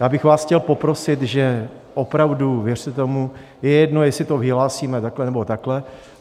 Já bych vás chtěl poprosit, že opravdu, věřte tomu, je jedno, jestli to vyhlásíme takhle, nebo takhle.